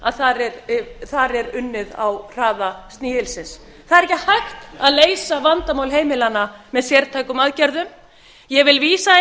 að þar er unnið á hraða snigilsins það er ekki hægt að leysa vandamál heimilanna með sértækum aðgerðum ég vil vísa í